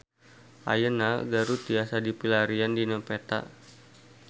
Ayeuna Garut tiasa dipilarian dina peta